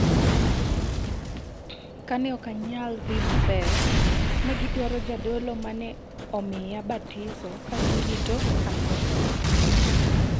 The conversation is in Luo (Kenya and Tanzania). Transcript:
"Ka ne ok anyal idhi maber, ne gidwaro jadolo mane omiya batiso ka girito ni atho."